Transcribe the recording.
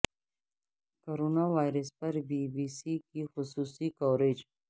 corona virus پر B B C کی خصوصی کوریج